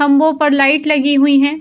खंभों पर लाइट लगी हुई हैं।